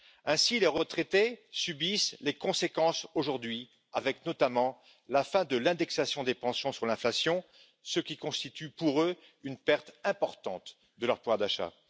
Ainsi, les retraités en subissent les conséquences aujourd'hui, avec notamment la fin de l'indexation des pensions sur l'inflation, ce qui constitue pour eux une perte importante de pouvoir d'achat.